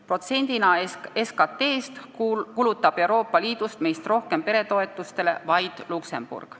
Protsendina SKT-st kulutab Euroopa Liidus meist rohkem peretoetustele vaid Luksemburg.